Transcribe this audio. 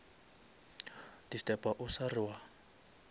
disturba o sa re wa